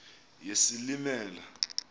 yesilimela